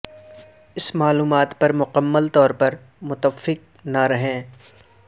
اس معلومات پر مکمل طور پر متفق نہ رہیں